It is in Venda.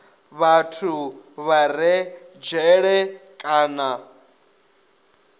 vhathu vha re dzhele kana